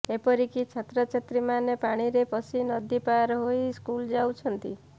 ଏପରକି ଛାତ୍ରଛାତ୍ରୀମାନେ ପାଣିରେ ପଶି ନଦୀ ପାର୍ ହୋଇ ସ୍କୁଲ ଯାଉଛନ୍ତି